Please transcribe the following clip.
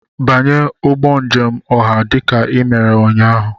Banye ụgbọ njem ọha dị ka ị mere ụnyaahụ!